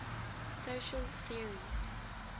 social theories